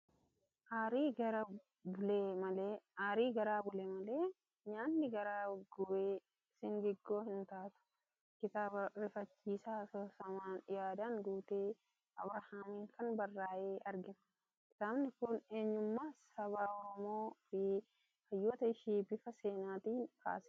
Aarii garaa bule malee nyaanni garaa gube singiggoo hin taatu! Kitaaba rifachiisaa asoosamaan yaadaan guute Abrahaamiin kan barraa'e argina. Kitaabni kun eenyummaa saba Oromoo fi hayyoota ishii bifa seenaatiin kaasa.